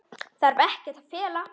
Þarf ekkert að fela.